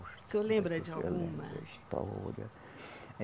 O senhor lembra de alguma? História eh